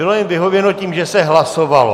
Bylo jim vyhověno tím, že se hlasovalo.